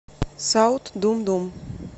саут думдум